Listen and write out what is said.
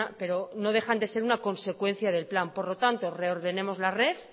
pero no dejan de ser una consecuencia del plan por lo tanto reordenemos la red